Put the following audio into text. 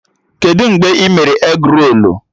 Kedụ mgbe ị mere egrolu?